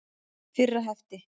Fyrra hefti.